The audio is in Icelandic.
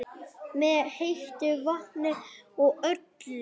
Með heitu vatni og öllu?